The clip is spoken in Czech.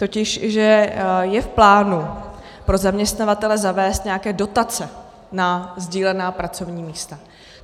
Totiž že je v plánu pro zaměstnavatele zavést nějaké dotace na sdílená pracovní místa.